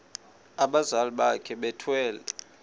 abazali bakhe bethwele